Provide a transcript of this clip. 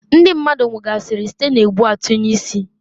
Ndi mmadu nwugasịrị site n' egbu-atunye-isi.